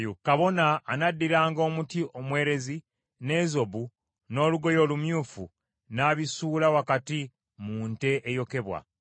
Kabona anaddiranga omuti omwerezi, n’ezobu n’olugoye olumyufu n’abisuula wakati mu nte eyokebwa.